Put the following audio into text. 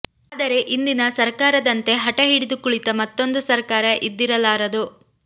ಆದರೆ ಇಂದಿನ ಸರಕಾರದಂತೆ ಹಠ ಹಿಡಿದು ಕುಳಿತ ಮತ್ತೊಂದು ಸರಕಾರ ಇದ್ದಿರಲಾರದು